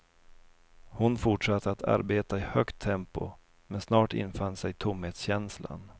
Hon fortsatte att arbeta i högt tempo, men snart infann sig tomhetskänslan.